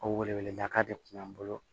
O weleweleda de tun y'an bolo